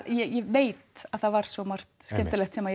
ég veit að það var svo margt skemmtilegt sem